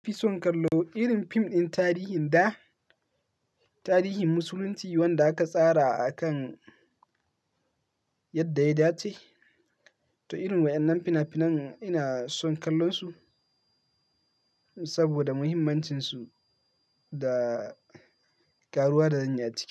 Ni fi son kallo irin fim ɗin tarihin da, tarihin musulunci wanda aka tsara a kan yadda ya dace. To irin waɗannan fina-finan ina son kallonsu saboda muhimmancinsu da karuwa da zan yi a ciki.